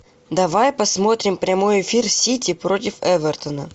давай посмотрим прямой эфир сити против эвертона